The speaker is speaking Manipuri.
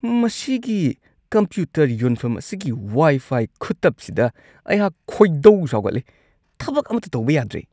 ꯃꯁꯤꯒꯤ ꯀꯝꯄ꯭ꯌꯨꯇꯔ ꯌꯣꯟꯐꯝ ꯑꯁꯤꯒꯤ ꯋꯥꯏ-ꯐꯥꯏ ꯈꯨꯇꯞꯁꯤꯗ ꯑꯩꯍꯥꯛ ꯈꯣꯏꯗꯧ ꯁꯥꯎꯒꯠꯂꯤ ꯫ ꯊꯕꯛ ꯑꯃꯠꯇ ꯇꯧꯕ ꯌꯥꯗ꯭ꯔꯦ ꯫